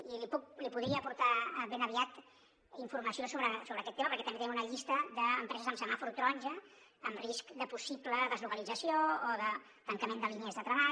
i li podria portar ben aviat informació sobre aquest tema perquè també tenim una llista d’empreses amb semàfor taronja en risc de possible deslocalització o de tancament de línies de treball